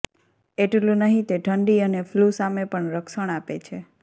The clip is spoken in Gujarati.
એટલું નહીં તે ઠંડી અને ફ્લૂ સામે પણ રક્ષણ આપે છે